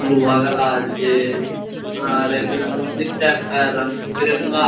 লোহাগলা আছে আর এখানে মন্দিরটা কা রংবেরঙগা |